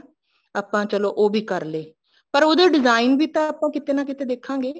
ਆਪਾਂ ਚਲੋ ਉਹ ਵੀ ਕਰ ਲੇ ਪਰ ਉਹਦੇ design ਵੀ ਤਾਂ ਕਿਤੇ ਨਾ ਕੀਤਾ ਆਪਾਂ ਦੇਖਾਂਗੇ